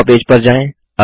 draw page पर जाएँ